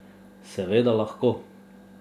Seveda lahko.